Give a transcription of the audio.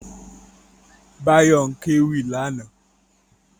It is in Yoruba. Báyọ̀ ń kéwì lánàá